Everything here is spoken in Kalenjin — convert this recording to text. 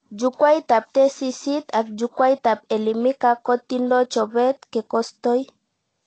Jukwaitab tesisyit ak jukwaitab Elimika kotindo chobet kekostoi